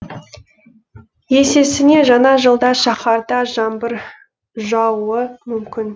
есесіне жаңа жылда шаһарда жаңбыр жаууы мүмкін